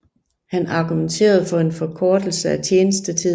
Han argumenterede for en forkortelse af tjenestetiden